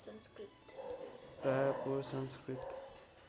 Raipur Sanskrit